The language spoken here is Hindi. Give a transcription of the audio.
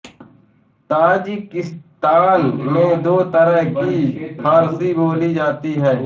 ताजिकिस्तान में दो तरह की फ़ारसी बोली जाती है